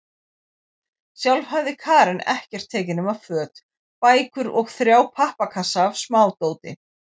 Sjálf hafði Karen ekkert tekið nema föt, bækur og þrjá pappakassa af smádóti.